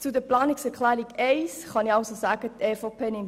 Zur Planungserklärung 1 kann ich sagen, dass die EVP diese annimmt.